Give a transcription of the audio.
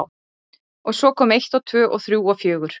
Og svo kom eitt og tvö og þrjú og fjögur.